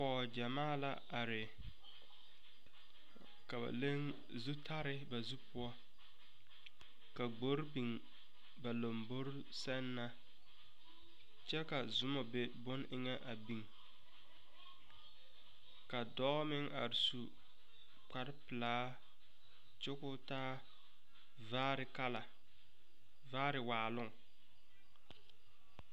Pɔg gyamaa la are. Ka ba leŋ zutare ba zu poʊ. Ka gbor biŋ ba lombore sɛŋ na. Kyɛ ka zumo be boŋ eŋe a biŋ. Ka dɔɔ meŋ are su kparo pulaa kyɛ k'o taa vaare kala vaare waaluŋ